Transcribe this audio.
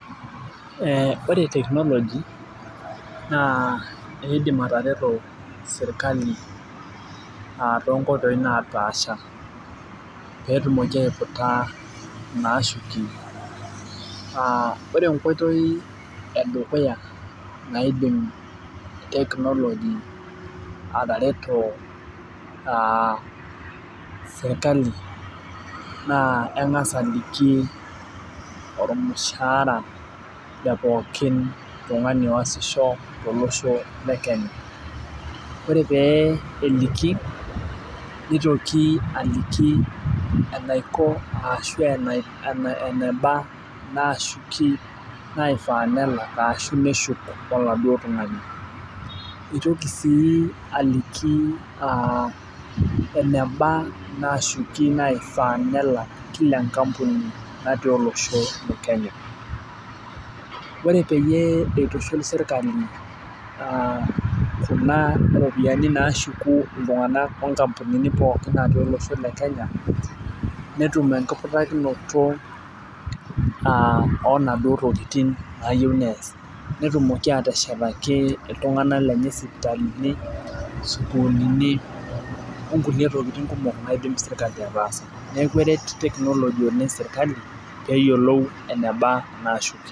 Ore technology na idimbatareto serkali tonkoitoi napaasha petumoki aputa naashuki ore enkoitoi edukuya naibung technology atareto serkali na kengasi aliki ormushara le poki tonguani oashisho tolosho le Kenya nitoki aliki anaiko ashu eneba naiffaapelak ashu neshuk oladuo tungani nitoki si aliki eneba nashukie kila enkampuni olosho le kenya ore peyie itobiraa serkali kunatmropiyani nashuku ltunganak tonkampunini pookin olosho le kenya netumbenkiputakino okuna tokitin nayiau neas neshetaki ltunganak lenye sukul sokonini onkulie tokitin naitobir serkali kebore technology serkali oleng nqshukieki nona pisai.